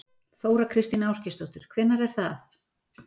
Þóra Kristín Ásgeirsdóttir: Hvenær er það?